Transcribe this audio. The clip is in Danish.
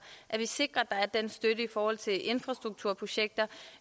at vi sikrer at der er den støtte i forhold til infrastrukturprojekter